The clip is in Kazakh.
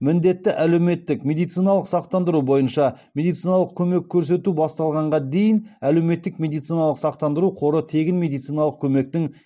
міндетті әлеуметтік медициналық сақтандыру бойынша медициналық көмек көрсету басталғанға дейін әлеуметтік медициналық сақтандыру қоры тегін медициналық көмектің